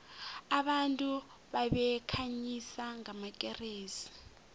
abantu babekhanyisa ngamakeresi